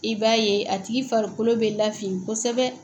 I b'a ye a tigi farikolo bɛ lafin kosɛbɛ.